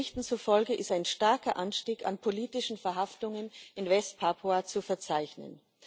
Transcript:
Berichten zufolge ist ein starker Anstieg an politischen Verhaftungen in West Papua zu verzeichnen.